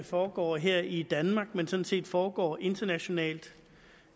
foregår her i danmark men sådan set foregår internationalt